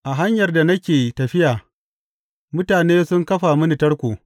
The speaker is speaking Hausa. A hanyar da nake tafiya mutane sun kafa mini tarko.